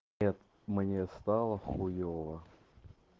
нет мне стало хуёво